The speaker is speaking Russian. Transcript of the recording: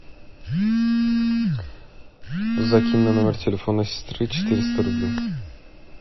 закинь на номер телефона сестры четыреста рублей